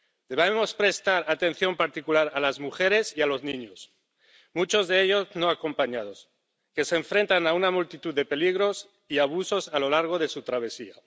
Debemos prestar atención particular a las mujeres y a los niños —muchos de ellos no acompañados—, que se enfrentan a una multitud de peligros y abusos a lo largo de su travesía.